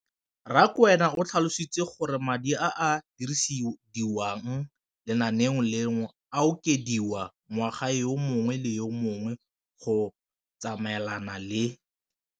Rakwena o tlhalositse gore madi a a dirisediwang lenaane leno a okediwa ngwaga yo mongwe le yo mongwe go tsamaelana le